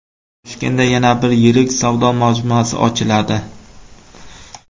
Toshkentda yana bir yirik savdo majmuasi ochiladi.